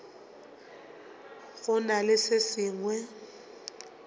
go na le se sengwe